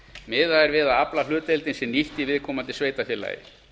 miðað er við að aflahlutdeildin sé nýtt í viðkomandi sveitarfélagi